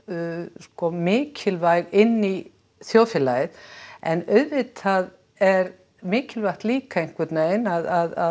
sko mikilvæg inn í þjóðfélagið en auðvitað er mikilvægt líka einhvern veginn að